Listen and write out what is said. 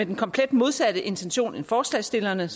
den komplet modsatte intention end forslagsstillerne